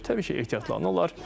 Təbii ki, ehtiyatlanırlar.